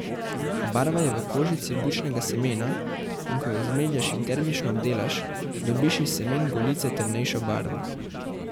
Barva je v kožici bučnega semena, in ko jo zmelješ in termično obdelaš, dobiš iz semen golice temnejšo barvo.